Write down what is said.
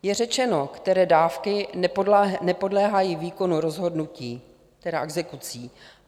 Je řečeno, které dávky nepodléhají výkonu rozhodnutí, tedy (?) exekucí.